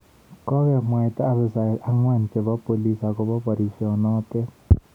Kokemwoito abisayek ang'wan chebo bolis akobo barisyenoto